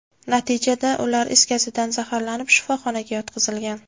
Natijada, ular is gazidan zaharlanib, shifoxonaga yotqizilgan.